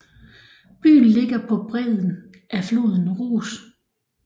Byen ligger på bredden af floden Ros